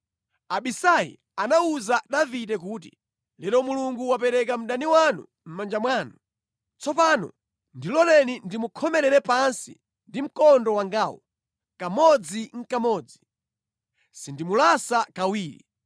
Abisai anawuza Davide kuti, “Lero Mulungu wapereka mdani wanu mʼmanja mwanu. Tsopano ndiloleni ndimukhomere pansi ndi mkondo wangawu kamodzinʼkamodzi. Sindimulasa kawiri.”